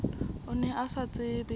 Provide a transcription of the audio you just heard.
o ne o sa tsebe